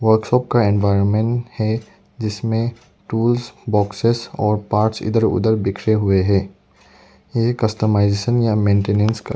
Workshop का environment है जिसमें टूल्स बॉक्सेज और पार्ट्स इधर उधर बिखरे हुए हैं यह कस्टमाइजेशन या मेंटेनेंस का।